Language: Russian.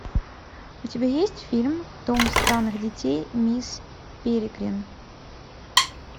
у тебя есть фильм дом странных детей мисс перегрин